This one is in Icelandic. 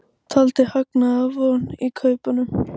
Taldi hagnaðarvon í kaupunum